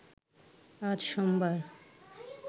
আজ সোমবার